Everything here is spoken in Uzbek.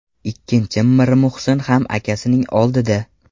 Ikkinchim Mirmuhsin ham akasining oldida.